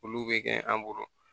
Olu bɛ kɛ an bolo